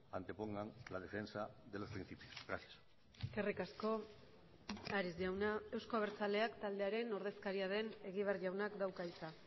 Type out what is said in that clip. antepongan la defensa de los principios gracias eskerrik asko ares jauna euzko abertzaleak taldearen ordezkaria den egibar jaunak dauka hitza